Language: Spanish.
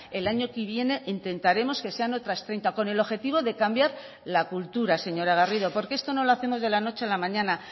el año que viene intentaremos que sean otras treinta con el objetivo de cambiar la cultura señora garrido porque esto no lo hacemos de la noche a la mañana